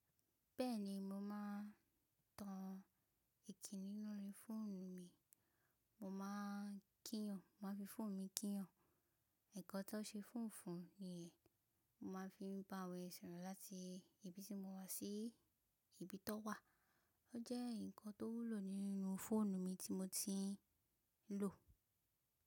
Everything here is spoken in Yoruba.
Bẹ́ẹ̀ni mo máa ń tan ẹìkíni lórí fóònù mi, mo máa ń kíyan, mo máa ń fi fóònù mi kíyan. Nkan tó ń ṣe fóònù fún ni yẹn, mo máa ń fi bá àwọn èèyàn sọ̀rọ̀ láti ibi tí mo wà sí ibi tó wà. Ó jẹ́ ǹkan tó wúlò nínú fóònù mi tí mo ti ń lò.